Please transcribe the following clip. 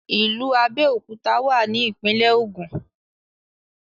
ìlú Abéòkúta wà ní ìpínlẹ̀ Ògùn